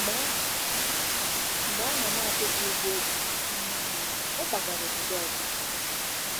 Mgbe ahụ, Mgbe ahụ, n'akwụghị ụgwọ o ji um, ọ kwagara obodo ọzọ.